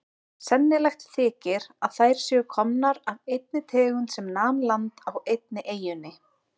Sennilegt þykir að þær séu komnar af einni tegund sem nam land á einni eyjunni.